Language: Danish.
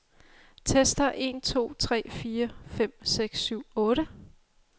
Tester en to tre fire fem seks syv otte.